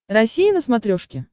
россия на смотрешке